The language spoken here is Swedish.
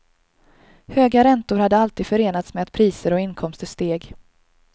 Höga räntor hade alltid förenats med att priser och inkomster steg.